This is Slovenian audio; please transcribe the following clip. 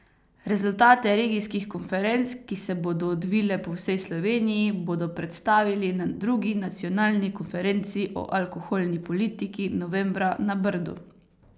Rezultate regijskih konferenc, ki se bodo odvile po vsej Sloveniji, bodo predstavili na drugi nacionalni konferenci o alkoholni politiki novembra na Brdu.